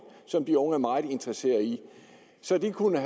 som de unge er meget interesseret i så de kunne